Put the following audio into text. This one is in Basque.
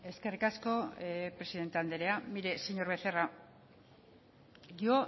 eskerrik asko presidente anderea mire señor becerra yo